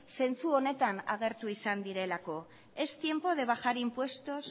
zentzu honetan agertu izan direlako es tiempo de bajar impuestos